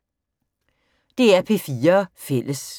DR P4 Fælles